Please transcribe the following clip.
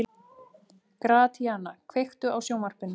Gratíana, kveiktu á sjónvarpinu.